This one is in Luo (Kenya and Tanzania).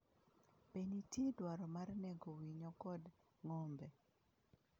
Be nitie dwaro mar nego winyo kod ng’ombe?